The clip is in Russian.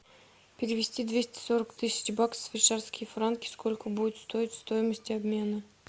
перевести двести сорок тысяч баксов в швейцарские франки сколько будет стоить стоимость обмена